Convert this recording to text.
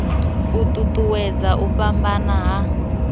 u ṱuṱuwedza u fhambana ha